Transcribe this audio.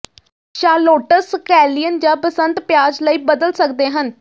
shallots scallion ਜਾਂ ਬਸੰਤ ਪਿਆਜ਼ ਲਈ ਬਦਲ ਸਕਦੇ ਹਨ